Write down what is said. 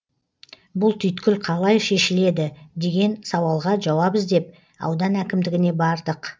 бұл түйткіл қалай шешіледі деген сауалға жауап іздеп аудан әкімдігіне бардық